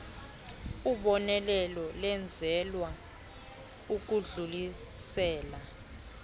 ubonelelo lwenzelwa ukudlulisela